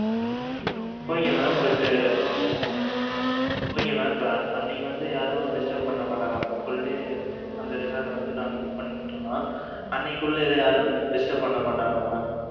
Okay mam but Okay mam இப்ப அன்~ அன்னைக்கு வந்து, யாரும் disturb பண்ண மாட்டாங்களா, இப்ப full day அந்த resort அ வந்து, நாங்க book பண்ணிட்டோம்ன்னா, அன்னைக்குள்ள, இதை யாரும், disturb பண்ண மாட்டாங்களா, mam